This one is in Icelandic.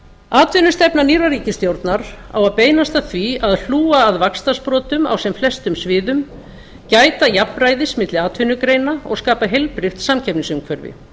atvinnustefna nýrrar ríkisstjórnar á að beinast að því að hlúa að vaxtarsprotum á sem flestum sviðum gæta jafnræðis milli atvinnugreina og skapa heilbrigt samkeppnisumhverfi